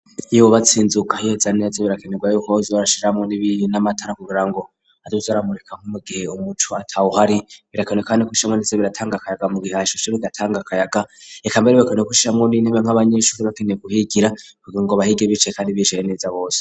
Iyo wubatse inzu hihetsa neza birakenerwa yo kohozi barashiramwo n'amatara kugirango azoze aramurika nkomugihe umuco ataho uhari birakane kandi kusishamo neza biratanga akayaga mu gihe ashisho biratanga kayaga rekambere birakanie kushirha muni intebe nk'abanyeshuri bakeneye guhigira kugira ngo bahige biceye kandi bijeye neza bose.